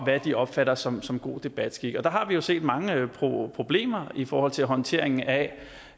hvad de opfatter som som god debatskik der har vi jo set mange problemer i forhold til håndteringen af